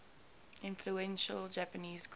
influential japanese composer